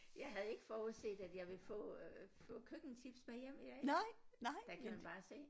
Jeg havde ikke forudset at jeg ville få øh få køkkentips med hjem i dag der kan man bare se